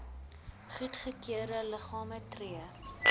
goedgekeurde liggame tree